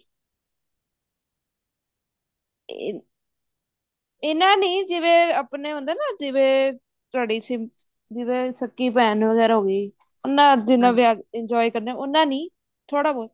ਇਹਨਾ ਨੇ ਜਿਵੇਂ ਆਪਣੇ ਹੁੰਦੇ ਆ ਨਾ ਜਿਵੇਂ ਤੁਹਾਡੀ ਜਿਵੇਂ ਸਕੀ ਭੇਣ ਵਗੇਰਾ ਹੋਗੀ ਉਹਨਾ ਜਿੰਨਾ ਵਿਆਹ enjoy ਕਰਨਾ ਉੰਨਾ ਨੀ ਥੋੜਾ ਬਹੁਤ